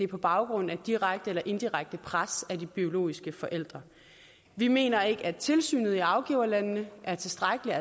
på baggrund af direkte eller indirekte pres på de biologiske forældre vi mener ikke at tilsynet i afgiverlandene er tilstrækkeligt